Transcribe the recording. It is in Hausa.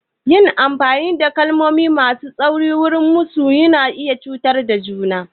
Yin amfani da kalmomi masu tsauri wurin musu na iya cutar da juna.